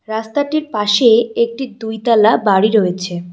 রাস্তাটির পাশে একটি দুই তালা বাড়ি রয়েছে।